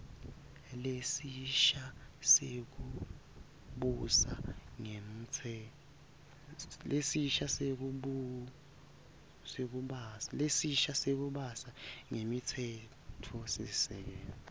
lesisha sekubusa ngemtsetfosisekelo